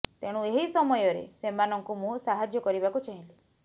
ତେଣୁ ଏହି ସମୟରେ ସେମାନଙ୍କୁ ମୁଁ ସାହାଯ୍ୟ କରିବାକୁ ଚାହିଁଲି